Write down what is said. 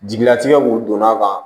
Jigilatigɛ mun donn'a kan